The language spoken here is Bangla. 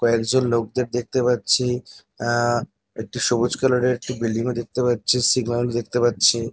কয়েকজন লোকদের দেখতে পাচ্ছি আহ একটি সবুজ কালার -এর একটি বিল্ডিং -ও দেখতে পাচ্ছি। সিগন্যাল দেখতে পাচ্ছি।